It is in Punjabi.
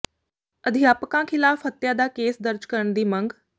ਅਧਿਆਪਕਾਂ ਖ਼ਿਲਾਫ਼ ਹੱਤਿਆ ਦਾ ਕੇਸ ਦਰਜ ਕਰਨ ਦੀ ਮੰਗ